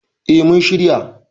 Eh mun shirya.